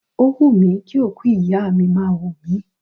Ó wùmí kí òkú ìyá mi máa wò mí.